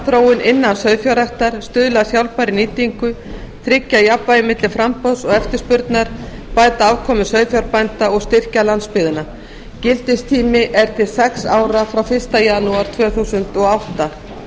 framþróun innan sauðfjárræktar stuðla að sjálfbærri nýtingu tryggja jafnvægi milli framboðs og eftirspurnar bæta afkomu sauðfjárbænda og styrkja landsbyggðina gildistími er til sex ára frá fyrsta janúar tvö þúsund og átta